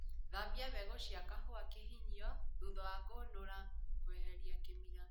Thambia mbegũ cia kahũa kĩhinyio thutha wa kũnũra kweheria kĩmira